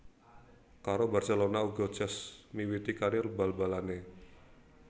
Karo Barcelona uga Cesc miwiti karir bal balanè